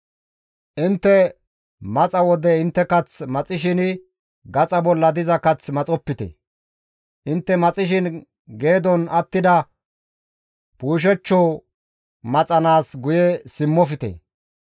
« ‹Intte maxa wode intte kath maxishin gaxa bolla diza kath maxopite; intte maxishin geedon attida puushechcho maxanaas guye simmofte.